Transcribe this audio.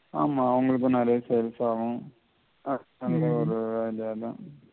ஆமா அவங்களுக்கும் நெறைய service ஆகும் ஆஹ் அங்க ஒரு